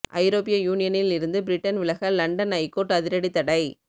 ஐரோப்பிய யூனியனில் இருந்து பிரிட்டன் விலக லண்டன் ஐகோர்ட் அதிரடி தடை